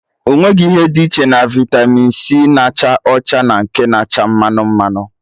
Enweghị ihe dị iche na vitamị c na-acha ọcha na nke na-acha mmanụ mmanụ